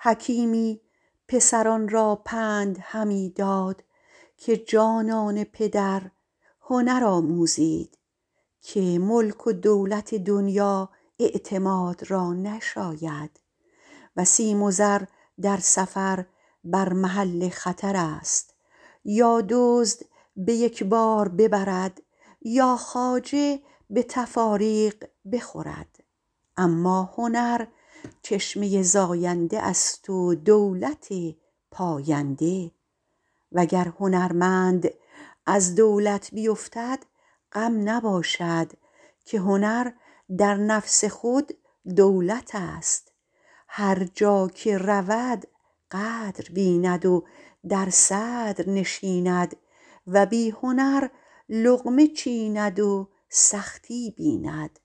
حکیمی پسران را پند همی داد که جانان پدر هنر آموزید که ملک و دولت دنیا اعتماد را نشاید و سیم و زر در سفر بر محل خطر است یا دزد به یک بار ببرد یا خواجه به تفاریق بخورد اما هنر چشمه زاینده است و دولت پاینده وگر هنرمند از دولت بیفتد غم نباشد که هنر در نفس خود دولت است هر جا که رود قدر بیند و در صدر نشیند و بی هنر لقمه چیند و سختی بیند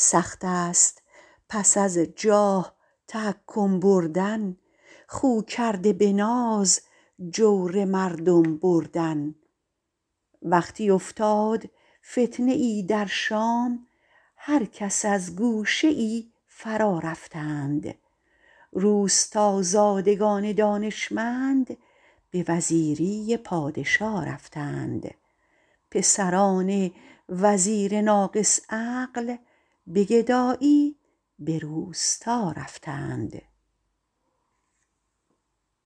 سخت است پس از جاه تحکم بردن خو کرده به ناز جور مردم بردن وقتی افتاد فتنه ای در شام هر کس از گوشه ای فرا رفتند روستازادگان دانشمند به وزیری پادشا رفتند پسران وزیر ناقص عقل به گدایی به روستا رفتند